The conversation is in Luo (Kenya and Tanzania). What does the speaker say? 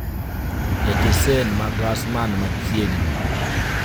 stesen ma gas man machiegni